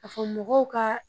A fɔ mɔgɔw ka